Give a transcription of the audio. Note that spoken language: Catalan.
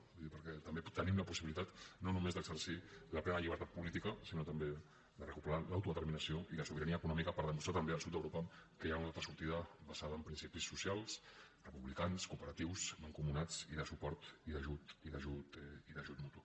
vull dir perquè també tenim la possibilitat no només d’exercir la plena llibertat política sinó també de recuperar l’autodeterminació i la sobirania econòmica per demostrar també al sud d’europa que hi ha una altra sortida basada en principis socials republicans cooperatius mancomunats i de suport i d’ajut mutu